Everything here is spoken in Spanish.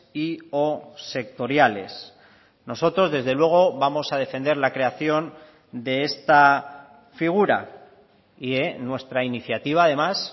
y o sectoriales nosotros desde luego vamos a defender la creación de esta figura y nuestra iniciativa además